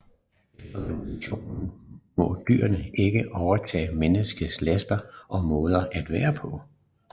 Efter revolutionen må dyrene ikke overtage menneskenes laster og måder at være på